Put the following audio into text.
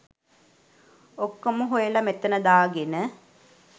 ඔක්කොම හොයලා මෙතන දාගෙන